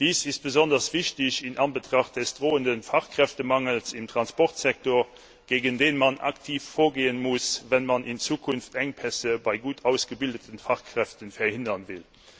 Dies ist besonders wichtig in Anbetracht des drohenden Fachkräftemangels im Transportssektor, gegen den man aktiv vorgehen muss, wenn man in Zukunft Engpässe bei gut ausgebildeten Fachkräften verhindern will.